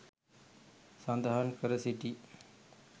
සඳහන් කර සිටි